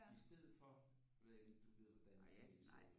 I stedet for nu ved jeg ikke om du ved hvordan et knæ ser ud